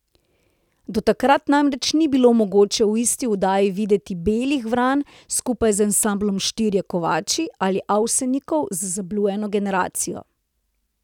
Do takrat namreč ni bilo mogoče v isti oddaji videti Belih vran skupaj z ansamblom Štirje kovači ali Avsenikov z Zablujeno generacijo.